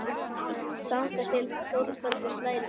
Þangað til Þórbergur slær í gegn.